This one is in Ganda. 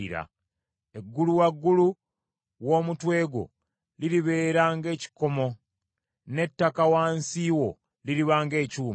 Eggulu waggulu w’omutwe gwo liribeera ng’ekikomo, n’ettaka wansi wo liriba ng’ekyuma.